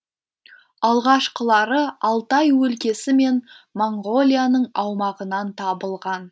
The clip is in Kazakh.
алғашқылары алтай өлкесі мен моңғолияның аумағынан табылған